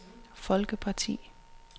folkeparti